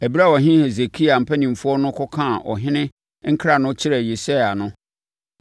Ɛberɛ a ɔhene Hesekia mpanimfoɔ no kɔkaa ɔhene nkra no kyerɛɛ Yesaia no,